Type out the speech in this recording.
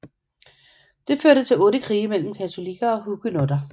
Det førte til otte krige mellem katolikker og huguenotter